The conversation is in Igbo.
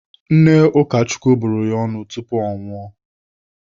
Nne Ụkachukwu bụrụ ya ọnụ tupu ọ nwụọ.